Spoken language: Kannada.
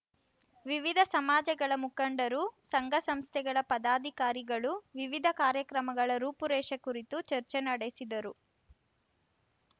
ವಿವಿಧ ಸಮಾಜಗಳ ಮುಖಂಡರು ಸಂಘ ಸಂಸ್ಥೆಗಳ ಪದಾಧಿಕಾರಿಗಳು ವಿವಿಧ ಕಾರ್ಯಕ್ರಮಗಳ ರೂಪು ರೇಷೆ ಕುರಿತು ಚರ್ಚೆ ನಡೆಸಿದರು